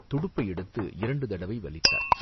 துடுப்பை எடுத்து இரண்டு தடவை வலித்தாள்.